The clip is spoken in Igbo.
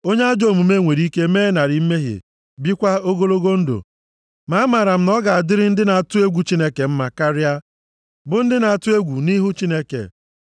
Onye ajọ omume nwere ike mee narị mmehie bikwaa ogologo ndụ, ma amara m na ọ ga-adịrị ndị na-atụ egwu Chineke mma karịa, bụ ndị na-atụ egwu nʼihu Chineke.